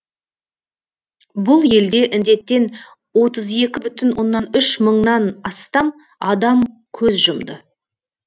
бұл елде індеттен отыз екі бүтін оннан үш мыңнан астам адам көз жұмды